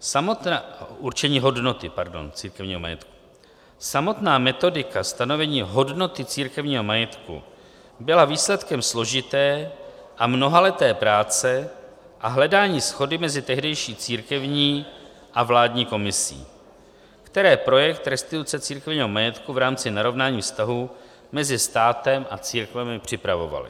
Samotná metodika stanovení hodnoty církevního majetku byla výsledkem složité a mnohaleté práce a hledání shody mezi tehdejší církevní a vládní komisí, které projekt restituce církevního majetku v rámci narovnání vztahů mezi státem a církvemi připravovaly.